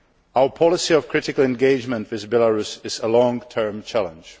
Our policy of critical engagement with Belarus is a long term challenge.